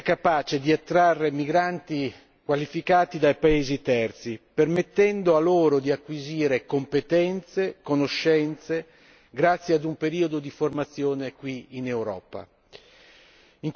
Una politica che sia capace di attrarre migranti qualificati dai paesi terzi, permettendo loro di acquisire competenze e conoscenze grazie ad un periodo di formazione qui in Europa.